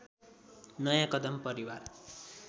नयाँ कदम परिवार